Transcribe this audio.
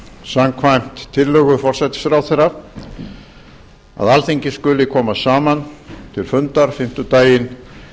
samkvæmt tillögu forsætisráðherra að alþingi skuli koma saman til fundar fimmtudaginn